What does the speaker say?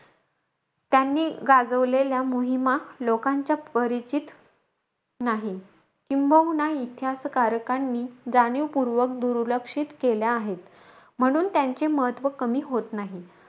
त्यांनी गाजवलेल्या मोहीमा, लोकांच्या परिचित नाही. किंबहुना, इतिहासकारकांनी जाणीवपूर्वक दुर्लक्षित केल्या आहेत. म्हणून, त्यांचे महत्व कमी होत नाही.